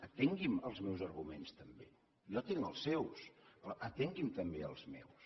atengui’m els meus arguments també jo atenc els seus però atengui’m també els meus